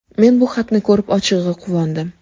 Men bu xatni ko‘rib, ochig‘i, quvondim.